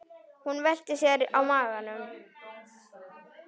Hún velti sér á magann.